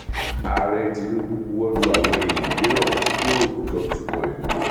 ààrẹ tinubu buwọlù àwọn èèyàn mìíràn tí yóò jọ tukọ ìlú